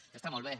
això està molt bé